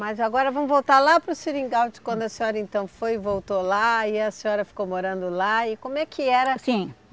Mas agora vamos voltar lá para o seringal, de quando a senhora então foi e voltou lá, e a senhora ficou morando lá, e como é que era? Sim